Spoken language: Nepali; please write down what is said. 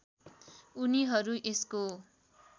उनीहरू यसको